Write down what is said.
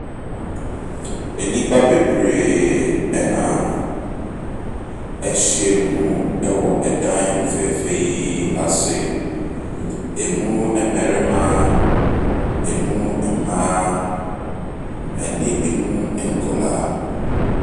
Nnipa bebree na ahyia mu wɔ ɛdan fɛɛfɛ yi ase. Emu mmarima, emu mmaa ne emu nkwadaa.